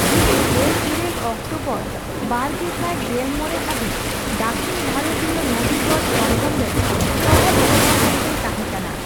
ᱩᱱᱤ ᱜᱮᱞ ᱤᱨᱟᱹᱞ ᱚᱠᱴᱚᱵᱚᱨ ᱵᱟᱨᱜᱮᱥᱟᱤ ᱜᱮᱞ ᱢᱚᱲᱮ ᱦᱟᱹᱵᱤᱡᱽ ᱫᱟᱹᱠᱷᱤᱱ ᱵᱷᱟᱨᱚᱛᱤᱭᱚ ᱱᱚᱫᱤᱜᱚᱲ ᱥᱚᱝᱜᱚᱢ ᱨᱮᱱ ᱥᱚᱦᱚᱫ ᱥᱚᱵᱷᱟ ᱜᱚᱢᱠᱮᱭ ᱛᱟᱸᱦᱮ ᱠᱟᱱᱟ ᱾